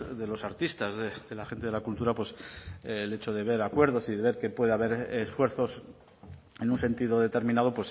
de los artistas de la gente de la cultura pues el hecho de ver acuerdos y de ver que puede haber esfuerzos en un sentido determinado